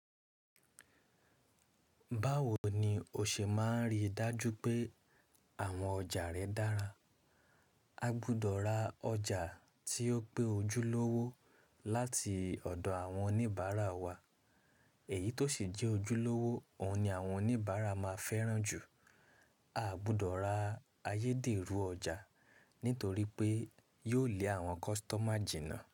Báwo ni o ṣe máa rí dájú pé àwọn ọjà rẹ dára? A gbudọ̀ ra ọjà tí ó pé ojúlówó láti ọ̀dọ̀ àwọn oníbàárà wa. Èyí tó sì n jẹ́ ojúlówó, òhun ni àwọn oníbàárà máa fẹ́ràn jù. A gbọdọ̀ ra ayédèrú ọjà nítorí pé yóò lé àwọn kọ́sítọ́mà jìnnà.